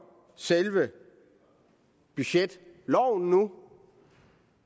selve budgetloven nu